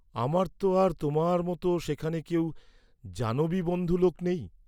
আমার তো আর তোমার মত সেখানে কেউ জানবি বন্ধু লোক নেই।